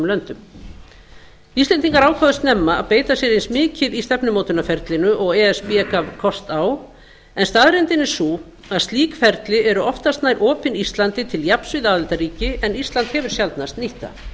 löndum íslendinga ákváðu snemma að beita sér eins mikið í stefnumótunarferlinu og e s b gaf kost á en staðreyndin er sú að slík ferli eru oftast nær opin íslandi til jafns við aðildarríki en ísland hefur sjaldnast nýtt það